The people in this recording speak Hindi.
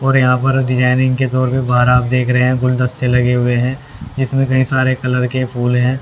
और यहां पर डिजाइनिंग के तौर पे बाहर आप देख रहे हैं गुलदस्ते लगे हुए हैं जिसमें कई सारे कलर के फूल हैं।